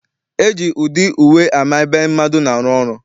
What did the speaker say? E ji ụdị uwe ama ebe mmadụ na-arụ.